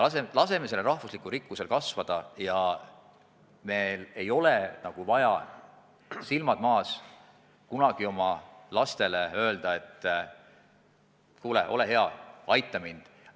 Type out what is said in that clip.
Laseme sellel üldrahvalikul rikkusel kasvada, ja meil ei ole vaja, silmad maas, kunagi oma lastele öelda, et kuulge, olge head, aidake mind.